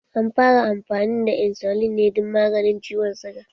An fara amfani da insulin ne dan maganin ciwon suga